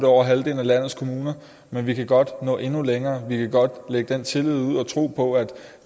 over halvdelen af landets kommuner men vi kan godt nå endnu længere vi kan godt lægge den tillid ud og tro på at